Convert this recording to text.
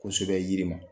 Kosɛbɛ yiri ma